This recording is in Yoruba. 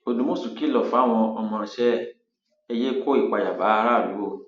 òdùmọṣù kìlọ fáwọn ọmọọṣẹ ẹ ẹ yéé kó ìpayà bá aráàlú o